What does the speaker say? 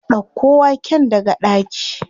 Ɗauko waken daga ɗaki.